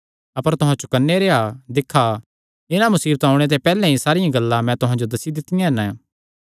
अपर तुहां चौकन्ने रेह्आ दिक्खा इन्हां मुसीबतां ओणे ते पैहल्ले ई सारियां गल्लां मैं तुहां जो दस्सी दित्तियां हन